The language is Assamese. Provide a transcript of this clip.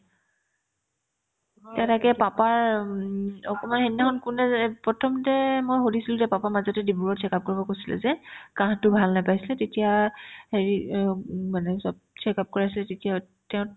এতিয়া তাকে papa ৰ উম অকনমান সেইদিনাখন কোনদিনা যে এ প্ৰথমতে যে মই সুধিছিলে যে papa মাক যদি ডিব্ৰুগড়ত check up কৰিব গৈছিলে যে কাঁহতো ভাল নাপাইছে তেতিয়া হেৰি অ উম মানে চব check up কৰাইছে তেতিয়া তেওঁৰ